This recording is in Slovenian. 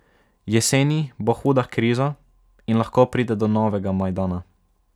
Jeseni bo huda kriza in lahko pride do novega Majdana.